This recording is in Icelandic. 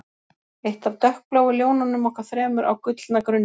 Eitt af dökkbláu ljónunum okkar þremur á gullna grunninum